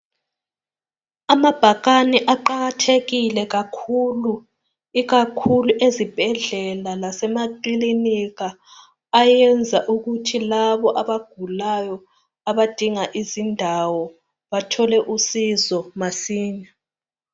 Amabhakane aqakathekile kakhulu ikakhulu ezibhedlela lasemakilinika ayenza ukuthi labo abagulayo abadinga izindawo bathole usizo masinya.